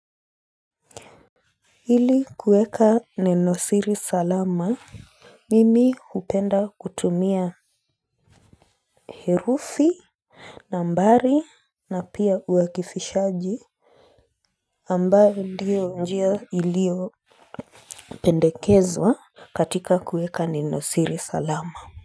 Hili kueka nine siri salama, mimi hupenda kutumia herufi nambari na pia uwakifishaji ambayo ndiyo njia ilio pendekezwa katika kueka nine siri salama.